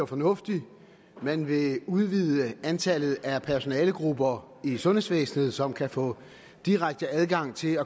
fornuftig man vil udvide antallet af personalegrupper i sundhedsvæsenet som kan få direkte adgang til